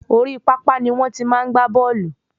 Orí papa ni wọ́n ti máa n gba bóòlù